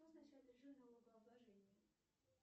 что означает режим налогооблложения